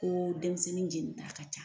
Ko denmisɛnnin jeni ta ka ca.